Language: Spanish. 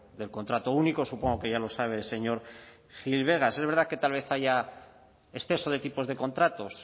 del contrato único supongo que ya lo sabe señor gil vegas es verdad que tal vez haya exceso de tipos de contratos